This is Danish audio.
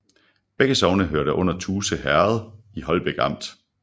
Begge sogne hørte til Tuse Herred i Holbæk Amt